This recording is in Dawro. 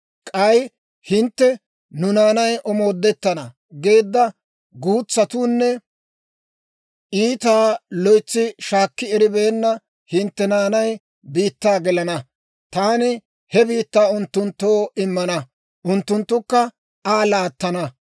K'ay hintte, ‹Nu naanay omoodettana› geedda guutsatuunne iitaa loytsi shaakki eribeenna hintte naanay he biittaa gelana. Taani he biittaa unttunttoo immana; unttunttukka Aa laattana.